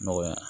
Nɔgɔya